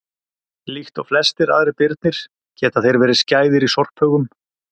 Líkt og flestir aðrir birnir geta þeir verið skæðir í sorphaugum.